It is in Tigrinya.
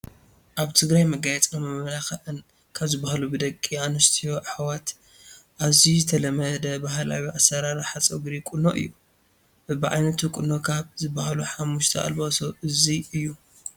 ኣብ ትግራይ መጋየፅን መመላኽን ካብ ዝባሃሉ ብደቂ ኣንስትዮ ኣሕዋት ኣዝዩ ዝተለመደ ባህላዊ ኣሰራርሓ ፀጉሪ ቁኖ እዩ፡፡ በቢዓይነቱ ቁኖ ካብ ዝባሃሉ 5 ኣልባሶ እዚ እዩ፡፡